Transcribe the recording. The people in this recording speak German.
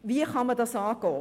Wie kann man das angehen?